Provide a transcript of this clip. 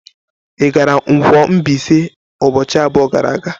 Ị gara Nkwo-Mbaise ụbọchị abụọ gara aga?